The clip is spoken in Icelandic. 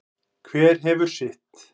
Hver hefur sitt.